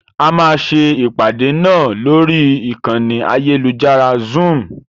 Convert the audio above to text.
A máa ṣe ìpàdé náà lórí ìkànnì ayélujára Zoom.